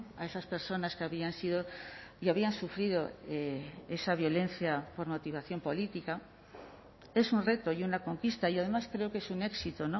a esas personas que habían sido y habían sufrido esa violencia por motivación política es un reto y una conquista y además creo que es un éxito